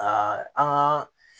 Aa an ka